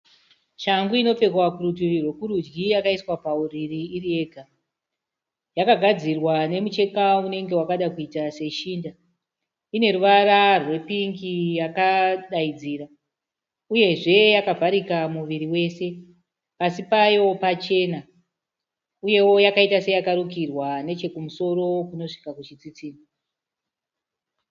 Shangu inopfekwa kurutivi rwekurudyi yakaiswa pauriri iriyega. Yakagadzirwa nemucheka unenge wakada kuita seshinda. Ine ruvara rwepingi yakadaidzira uyezve yakavharika muviri wese. Pasi payo pachena uyewo yakaita seyakarukirwa nechokumusoro kunosvika kuchitsitsinho.